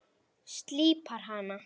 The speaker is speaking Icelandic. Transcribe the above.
Slípar hana.